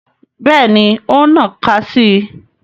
Bẹ́ẹ̀ni, o n nnaka si i